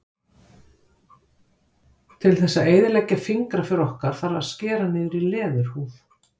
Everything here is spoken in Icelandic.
Til þess að eyðileggja fingraför okkar þarf að skera niður í leðurhúð.